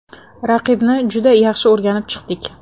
Raqibni juda yaxshi o‘rganib chiqdik.